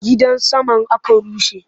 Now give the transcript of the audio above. Gidan saman aka rushe?